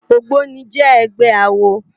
Ógbóni jè ègbè àwó